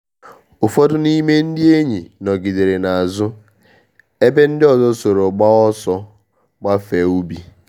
Ụfọdụ n’ime ndị enyi nọgidere n’azụ, ebe ndị ọzọ soro gbaa ọsọ gafee ubi.